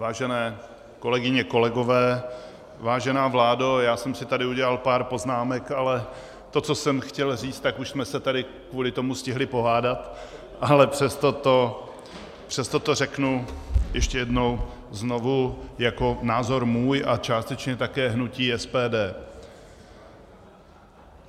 Vážené kolegyně, kolegové, vážená vládo, já jsem si tady udělal pár poznámek, ale to, co jsem chtěl říct, tak už jsme se tady kvůli tomu stihli pohádat, ale přesto to řeknu ještě jednou znovu jako názor svůj a částečně také hnutí SPD.